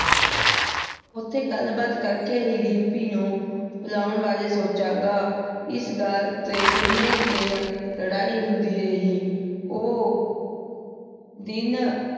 ਓਥੇ ਗਲ ਬਾਤ ਕਰ ਕੇ ਹੀ ਬਾਰੇ ਸੋਚਾਂ ਗਾ ਏਸ ਗਲ ਤੇ ਕਿੰਨੇ ਦਿਨ ਲੜਾਈ ਹੁੰਦੀ ਰਹੀ ਓ ਦਿਨ